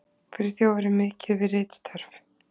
Friðþjófur er mikið við ritstörf.